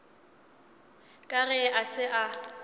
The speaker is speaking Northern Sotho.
ka ge a se a